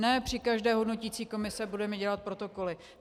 Ne při každé hodnoticí komisi budeme dělat protokoly.